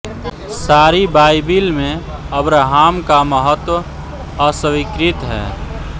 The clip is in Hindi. सारी बाइबिल में अब्रहाम का महत्व स्वीकृत है